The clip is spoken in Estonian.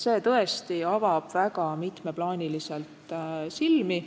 See tõesti avab väga mitmes plaanis silmi.